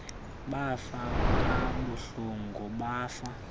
bafa kabuhlungu bafa